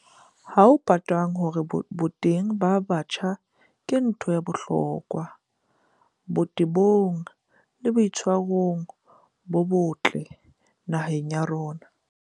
Ha ho potang hore boteng ba batjha ke ntho ya bohlokwa botebong le boitshwarong bo botle naheng ya rona.